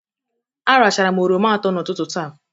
Aracharam oroma atọ n'ụtụtụ taa.